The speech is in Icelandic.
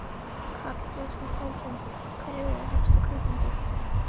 Karl Eskil Pálsson: Hverjir eru helstu kaupendur?